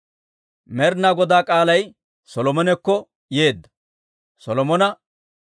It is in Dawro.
Med'inaa Godaa k'aalay Solomonekko yeedda; Solomona,